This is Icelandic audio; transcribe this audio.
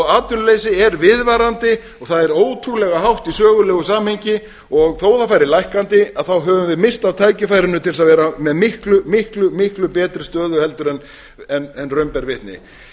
atvinnuleysi er viðvarandi og það er ótrúlega hátt í sögulegu samhengi og þó það færi lækkandi þá höfum við misst af tækifærinu til að vera með miklu miklu betri stöðu en raun ber vitni